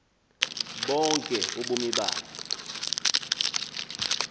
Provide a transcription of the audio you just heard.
bonke ubomi bakhe